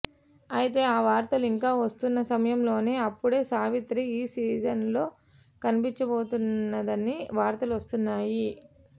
అయితే ఆ వార్తలు ఇంకా వస్తున్న సమయంలోనే అప్పుడే సావిత్రి ఈ సీజన్లో కనిపించబోతుందని వార్తలు వస్తున్నాయి